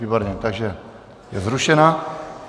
Výborně, takže je zrušena.